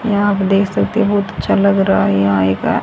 यहां आप देख सकते बहुत अच्छा लग रहा है यहां एक--